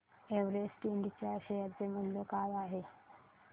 Everest Ind च्या share चे मूल्य काय आहे